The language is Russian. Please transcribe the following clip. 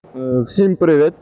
всем привет